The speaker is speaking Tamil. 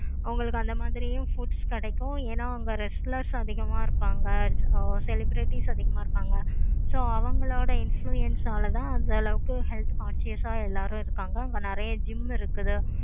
உங்களுக்கு அந்த மாதிரியும் foods கிடைக்கும். ஏன அங்க restless அதிகமா இருப்பாங்க. celebrity அதிகமா இருப்பாங்க. so அவங்களோட influence நாலா தான் அந்த அளவுக்கு health conscious ஆஹ் எல்லாரு இருக்காங்க. அங்க நெறைய gym இருக்குது.